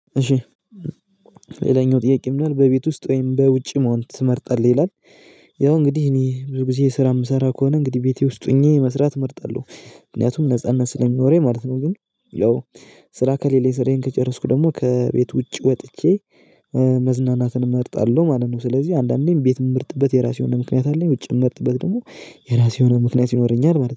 እሺ ሌላኛው ጥያቄ ምን ይላል በቤት ውስጥ ወይም በውጪ መሆን ትመርጣለህ ይላል? ያው እንግዲህ እኔ ብዙ ጊዜ ስራ እምሰራ ከሆነ እንግዲህ ቤቴ ውስጥ ሆኜ መስራት እመርጣለሁ ምክንያቱም ነጻነት ስለሚኖረኝ ማለት ነው። ግን ያው ሰራ ከሌለ ስራዬን ከጨረስኩ ደግሞ ከቤት ውጪ ወጥቼ መዝናናትን እመርጣለሁ ማለት ነው። ስለዚህ አንዳንዴም ቤት እምመርጥበት የራሴ የሆነ ምክንያት አለኝ። ውጭ እምመርጥበት ደግሞ የራሴ የሆነ ምክንያት ይኖረኛል ማለት ነው